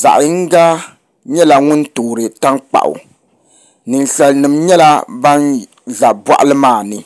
zaɣ yinga nyɛla ŋun toori tankpaɣu ninsal nim nyɛla ban ʒɛ boɣali maa ni